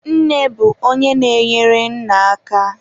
Nne bụ onye na-enyere nna aka.